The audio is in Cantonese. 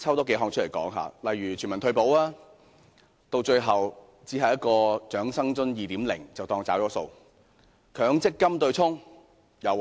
當中的全民退保，最後只有一項"長生津 2.0" 的安排，這樣便當作"找數"。